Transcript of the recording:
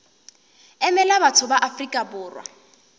emela batho ba afrika borwa